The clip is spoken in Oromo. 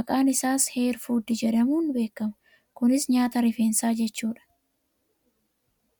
Maqaan isaas "Hair Food" jedhamuun beekama. Kunis nyaata rifeensaa jechuudha.